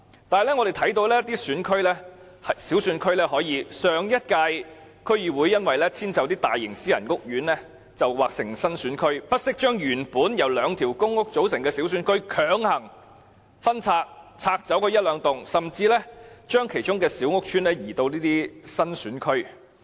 可是，我們看到在一些小選區中，上屆區議會為遷就大型私人屋苑劃成新選區，不惜將原本由兩個公屋屋邨組成的小選區強行分拆，把其中一兩幢甚至較小的屋邨劃入新選區內。